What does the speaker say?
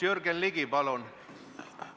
Jürgen Ligi, palun!